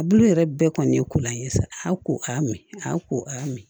A bulu yɛrɛ bɛɛ kɔni ye kolan ye sa a ko a y'a mɛn a ko a y'a mɛn